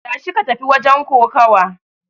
Tashi ka tafi wajen kokawa!